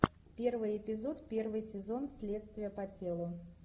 первый эпизод первый сезон следствие по телу